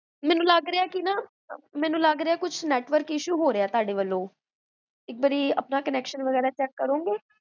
ਮੈਨੂ ਲਾਗ੍ਰੇਆਕੋ ਕੁਛ network issue ਹੋ ਰਿਹਾ ਤੁਹਾਡੇ ਵੱਲੋ ਇਕ ਵਾਰੀ ਆਪਣਾ connection ਵਗੇਰਾ ਚੇਕ ਕਰੋਂਗੇ?